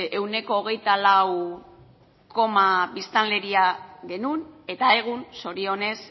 ehuneko hogeita lau biztanleria genuen eta egun zorionez